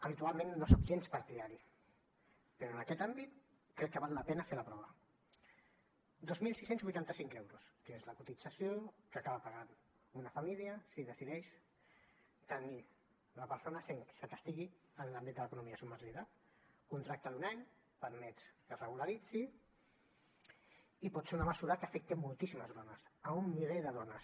habitualment no en soc gens partidari però en aquest àmbit crec que val la pena fer la prova dos mil sis cents i vuitanta cinc euros que és la cotització que acaba pagant una família si decideix tenir una persona sense que estigui en l’àmbit de l’economia submergida contracte d’un any permets que es regularitzi i pot ser una mesura que afecti moltíssimes dones un miler de dones